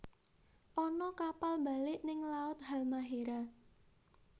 Ana kapal mbalik ning laut Halmahera